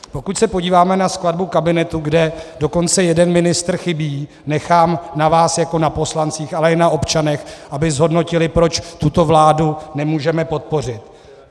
Pokud se podíváme na skladbu kabinetu, kde dokonce jeden ministr chybí, nechám na vás jako na poslancích, ale i na občanech, aby zhodnotili, proč tuto vládu nemůžeme podpořit.